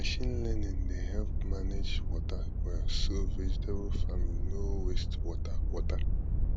machine learning dey help manage water well so vegetable farming no waste water water